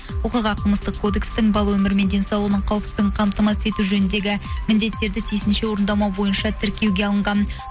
оқиға қылмыстық кодекстің бала өмірі мен денсаулығының қауіпсіздігін қамтамасыз ету жөніндегі міндеттерді тиісінше орындамау бойынша тіркеуге алынған